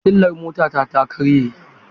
Fitilar motata ta karye.